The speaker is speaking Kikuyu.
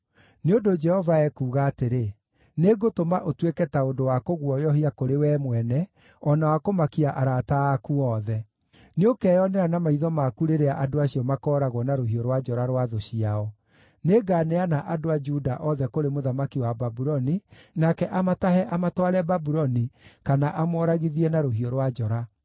Nĩ ũndũ Jehova ekuuga atĩrĩ: ‘Nĩngũtũma ũtuĩke ta ũndũ wa kũguoyohia kũrĩ wee mwene o na wa kũmakia arata aku othe; nĩũkeyonera na maitho maku rĩrĩa andũ acio makooragwo na rũhiũ rwa njora rwa thũ ciao. Nĩnganeana andũ a Juda othe kũrĩ mũthamaki wa Babuloni, nake amatahe amatware Babuloni, kana amooragithie na rũhiũ rwa njora.